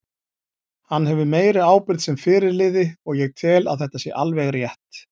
Hann hefur meiri ábyrgð sem fyrirliði og ég tel að þetta sé alveg rétt.